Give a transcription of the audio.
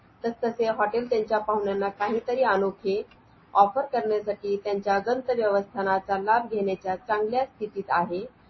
चाळीस बायका जमा करायचा आणि त्या चाळीस बायकांना कोणते कोणते धंदे करायचे कोणते कोणते व्यवसाय करायचे ते त्यांनी सांगायचे सरांना.